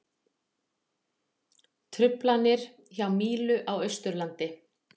Truflanir hjá Mílu á Austurlandi